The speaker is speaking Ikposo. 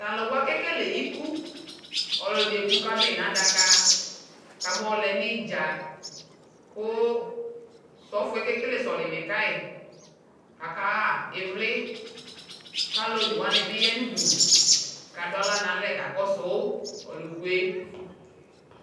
Tʊ alʊwa kekele iku, ɔlʊɛdɩ eku kʊ adʊ yɩ nʊ adaka, kʊ abayɔ lɛ nʊ idza, kʊ osofo yɛ okekele solimɛ ka yi, kʊ akaɣa ivli, kʊ alʊ onewanɩ bɩ ya nʊ udu, kʊ adʊ aɣla nalɛ li kakɔsʊ ɔlʊ kʊ yɛ